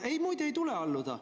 Ei, muide, ei tule alluda.